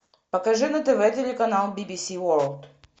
покажи на тв телеканал би би си ворлд